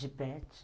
De pete